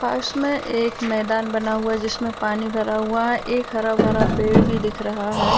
पास में एक मैदान बना हुआ है जिसमें पानी भरा हुआ है एक हरा भरा पेड़ भी दिख रहा है।